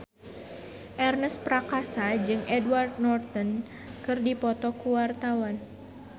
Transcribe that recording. Ernest Prakasa jeung Edward Norton keur dipoto ku wartawan